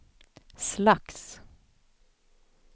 slags